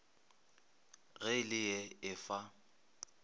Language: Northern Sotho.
ge e le ee efa